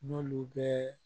N'olu bɛɛ